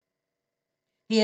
DR2